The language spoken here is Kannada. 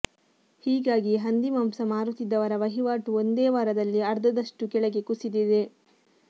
ಹೀಗಾಗಿ ಹಂದಿ ಮಾಂಸ ಮಾರುತ್ತಿದ್ದವರ ವಹಿವಾಟು ಒಂದೇ ವಾರದಲ್ಲಿ ಅರ್ಧದಷ್ಟು ಕೆಳಗೆ ಕುಸಿದಿದೆ